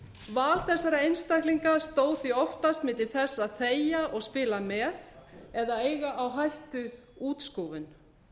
val þessara einstaklinga stóð því oftast milli þess að þegja og spila með eða eiga á hættu útskúfun